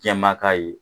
Jɛma ka ye